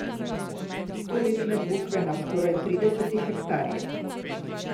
Stoletne bukve na skoraj trideset hektarih.